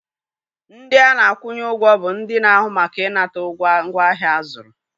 Ndị a na-akwụnye ụgwọ bụ ndị na-ahụ maka ịnata ugwo ngwaahịa a zụrụ.